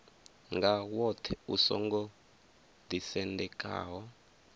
nga woṱhe u songo ḓisendekaho